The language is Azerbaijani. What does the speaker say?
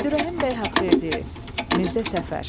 Əbdürrəhim bəy Haqverdiyev, Mirzə Səfər.